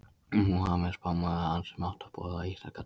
Múhameð er spámaður hans sem átti að boða íslamska trú.